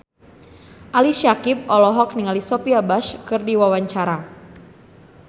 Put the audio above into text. Ali Syakieb olohok ningali Sophia Bush keur diwawancara